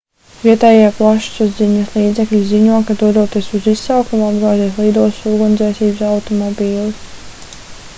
vietējie plašsaziņas līdzekļi ziņo ka dodoties uz izsaukumu apgāzies lidostas ugunsdzēsības automobilis